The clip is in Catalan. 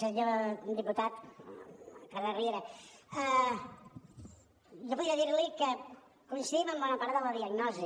senyor diputat carles riera jo podria dir li que coincidim en bona part de la diagnosi